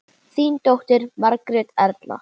Þín dóttir, Margrét Erla.